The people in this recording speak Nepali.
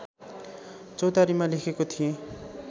चौतारीमा लेखेको थिएँ